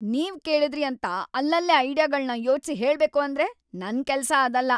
ನೀವ್‌ ಕೇಳಿದ್ರಿ ಅಂತ ಅಲ್ಲಲ್ಲೇ ಐಡಿಯಾಗಳ್ನ ಯೋಚ್ಸಿ ಹೇಳ್ಬೇಕು ಅಂದ್ರೆ ನನ್‌ ಕೆಲ್ಸ ಅದಲ್ಲ.